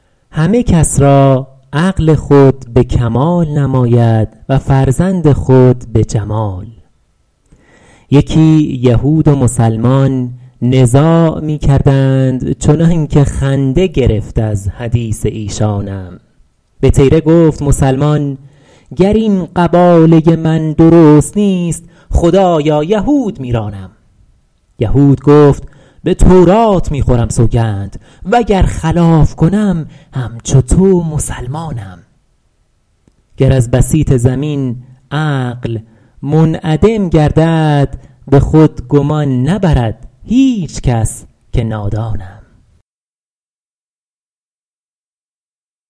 همه کس را عقل خود به کمال نماید و فرزند خود به جمال یکی یهود و مسلمان نزاع می کردند چنان که خنده گرفت از حدیث ایشانم به طیره گفت مسلمان گر این قباله من درست نیست خدایا یهود میرانم یهود گفت به تورات می خورم سوگند وگر خلاف کنم همچو تو مسلمانم گر از بسیط زمین عقل منعدم گردد به خود گمان نبرد هیچ کس که نادانم